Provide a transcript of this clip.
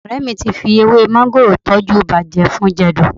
Ọ̀rẹ́ mi ti fi ewé máńgòrò tọ́jú ibà jẹfun-jẹ̀dọ̀